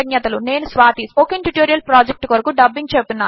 నేను Swathi spoken tutorial project కొరకు dubbing చెపుతున్నాను